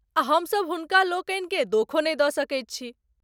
आ हम सब हुनका लोकनि के दोखो नहि द सकैत छी।